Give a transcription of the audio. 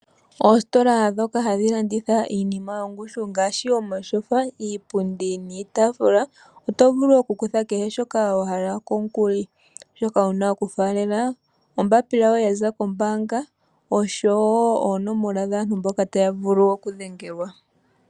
Oositola dhoka hadhi landitha iinima yongushu ngaashi omatyofa, iipundi niitafula otovulu okukutha kehe shoka wa hala komukuli shoka wuna okufaalela ombapila yoye yaza kombanga osho woo oonomola dhaantu mboka taya vulu okudhengelwa.